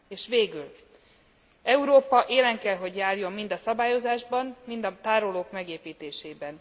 És végül Európa élen kell járjon mind a szabályozásban, mind a tárolók megépítésében.